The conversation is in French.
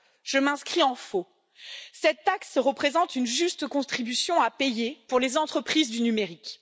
Je m'inscris en faux cette taxe représente une juste contribution à payer pour les entreprises du numérique.